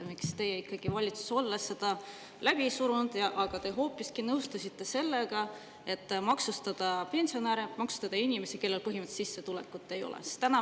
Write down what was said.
Miks te siis valitsuses olles seda läbi ei surunud, vaid hoopiski nõustusite sellega, et maksustatakse pensionäre, inimesi, kellel põhimõtteliselt sissetulekut ei olegi?